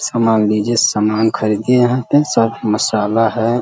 सामान लीजिये सामान खरीदिए यहाँ पे सब मसाला है।